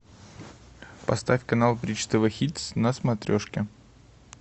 поставь канал бридж тв хитс на смотрешке